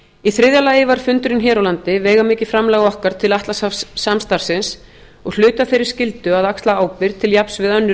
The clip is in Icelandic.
í þriðja lagi var fundurinn hér á landi veigamikið framlag okkar til atlantshafssamstarfsins og hluti af þeirri skyldu að axla ábyrgð til jafns við önnur